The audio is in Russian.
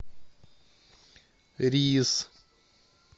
рис